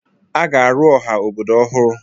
A ga-arụ ọha obodo ọhụrụ.